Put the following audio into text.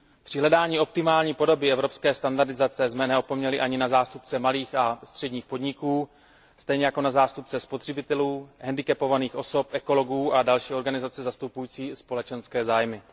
Při hledání optimální podoby evropské standardizace jsme neopomněli ani zástupce malých a středních podniků, stejně jako zástupce spotřebitelů, handicapovaných osob, ekologů a další organizace zastupující společenské zájmy.